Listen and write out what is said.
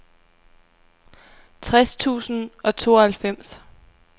tres tusind og tooghalvfems